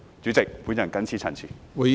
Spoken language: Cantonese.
主席，我謹此陳辭。